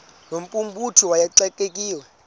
no mphuthumi wayexakiwe